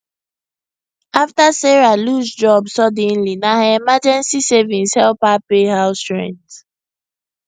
after sarah lose job suddenly na her emergency savings help her pay house rent